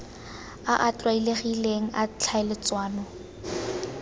a a tlwaelegileng a tlhaeletsano